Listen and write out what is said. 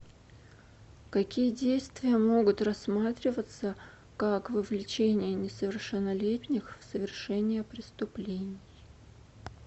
какие действия могут рассматриваться как вовлечение несовершеннолетних в совершение преступлений